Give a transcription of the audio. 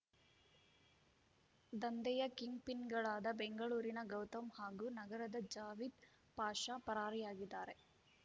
ದಂಧೆಯ ಕಿಂಗ್‌ಪಿನ್‌ಗಳಾದ ಬೆಂಗಳೂರಿನ ಗೌತಮ್‌ ಹಾಗೂ ನಗರದ ಜಾವಿದ್‌ ಪಾಷ ಪರಾರಿಯಾಗಿದ್ದಾರೆ